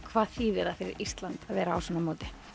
hvað þýðir það fyrir Ísland að vera á svona móti